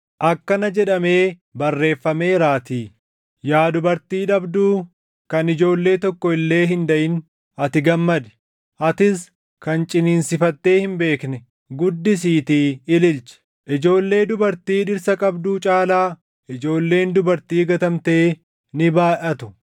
Akkana jedhamee barreeffameeraatii: “Yaa dubartii dhabduu kan ijoollee tokko illee hin daʼin ati gammadi; atis kan ciniinsifattee hin beekne guddisiitii ililchi; ijoollee dubartii dhirsa qabduu caalaa, ijoolleen dubartii gatamtee ni baayʼatu.” + 4:27 \+xt Isa 54:1\+xt*